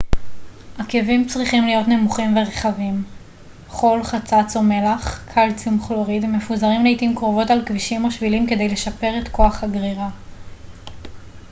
עקבים צריכים להיות נמוכים ורחבים. חול חצץ או מלח קלציום כלוריד מפוזרים לעתים קרובות על כבישים או שבילים כדי לשפר את כוח הגרירה